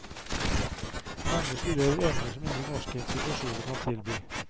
Mange studerer emner som ingen norske institusjoner kan tilby.